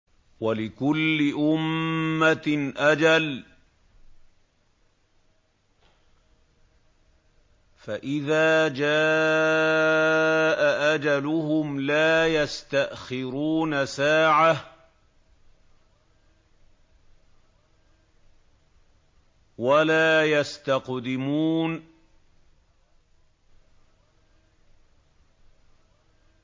وَلِكُلِّ أُمَّةٍ أَجَلٌ ۖ فَإِذَا جَاءَ أَجَلُهُمْ لَا يَسْتَأْخِرُونَ سَاعَةً ۖ وَلَا يَسْتَقْدِمُونَ